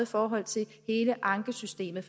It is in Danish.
forhold til hele ankesystemet